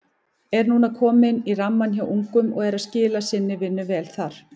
Er núna kominn í rammann hjá ungum og er að skila sinni vinnu vel þar.